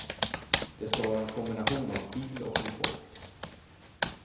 Det ska vara en kombination av stil och komfort.